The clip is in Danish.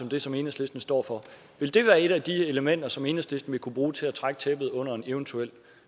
det som enhedslisten står for vil det være et af de elementer som enhedslisten vil kunne bruge til at trække tæppet væk under en eventuel